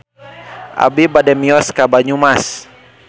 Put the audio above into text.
Abi bade mios ka Banyumas